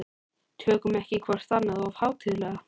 Tökum ekki hvort annað of hátíðlega.